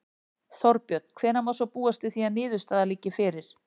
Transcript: Þorbjörn: Hvenær má svo búast við því að niðurstaða liggi fyrir?